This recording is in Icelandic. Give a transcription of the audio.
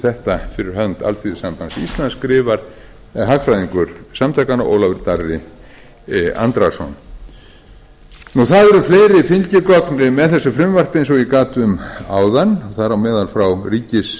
þetta fh alþýðusambands íslands skrifar hagfræðingur samtakanna ólafur darri andrason það eru fleiri fylgigögn með þessu frumvarpi eins og ég gat um áðan þar á meðal frá